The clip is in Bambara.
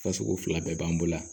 Fasugu fila bɛɛ b'an bolo yan